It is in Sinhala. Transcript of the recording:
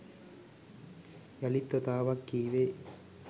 යළිත් වතාවක් කීවේ